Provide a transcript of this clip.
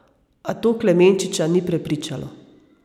A to Klemenčiča ni prepričalo.